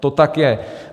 To tak je.